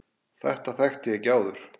Þetta þekkti ég ekki áður.